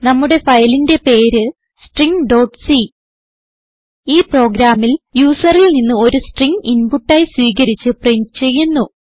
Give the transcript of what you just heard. നമ്മുടെ ഫയലിന്റെ പേര് stringസി ഈ പ്രോഗ്രാമിൽ യൂസറിൽ നിന്ന് ഒരു സ്ട്രിംഗ് ഇൻപുട്ട് ആയി സ്വീകരിച്ച് പ്രിന്റ് ചെയ്യുന്നു